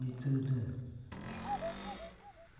De tudo.